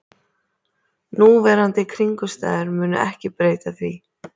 Núverandi kringumstæður munu ekki breyta því